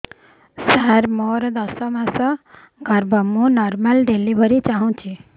ସାର ମୋର ଦଶ ମାସ ଗର୍ଭ ମୁ ନର୍ମାଲ ଡେଲିଭରୀ ଚାହୁଁଛି